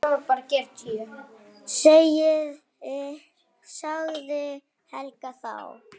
sagði Helga þá.